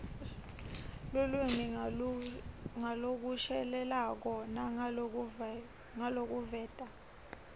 lulwimi ngalokushelelako nangalokuveta